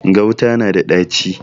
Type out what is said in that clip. Gauta na da ɗaci.